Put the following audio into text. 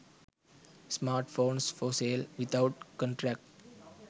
smartphones for sale without contract